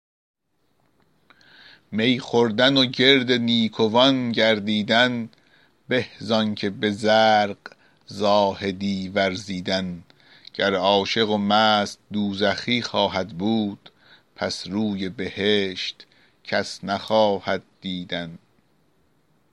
می خوردن و گرد نیکوان گردیدن به زآن که به زرق زاهدی ورزیدن گر عاشق و مست دوزخی خواهد بود پس روی بهشت کس نخواهد دیدن